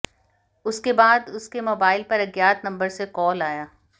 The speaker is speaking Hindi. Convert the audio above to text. उसके बाद उसके मोबाइल पर अज्ञात नंबर से कॉल आया